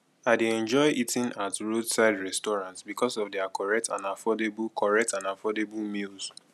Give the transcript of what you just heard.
i dey enjoy eating at roadside restaurants because of their correct and affordable correct and affordable meals